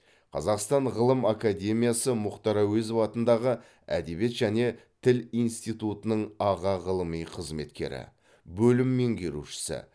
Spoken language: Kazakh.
қазақстан ғылым академиясы мұхтар әуезов атындағы әдебиет және тіл институтының аға ғылыми қызметкері бөлім меңгерушісі